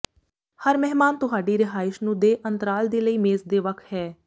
ਹਰ ਮਹਿਮਾਨ ਤੁਹਾਡੀ ਰਿਹਾਇਸ਼ ਨੂੰ ਦੇ ਅੰਤਰਾਲ ਦੇ ਲਈ ਮੇਜ਼ ਦੇ ਵੱਖ ਹੈ